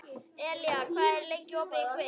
Elía, hvað er lengi opið í Kvikk?